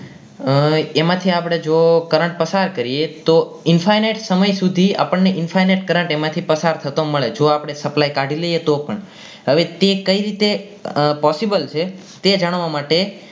અ એમાંથી આપણે જો current પસાર કરીએ તો infinite સમય સુધી આપણને infinite current એમાંથી પસાર થતો મળે જો આપણે supply કાઢી લઈએ તો પણ હવે તે કઈ રીતે posiable છે તે જાણવા માટે